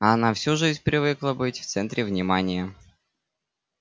а она всю жизнь привыкла быть в центре внимания